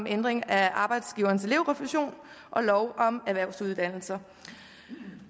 ændring af arbejdsgivernes elevrefusion og lov om erhvervsuddannelser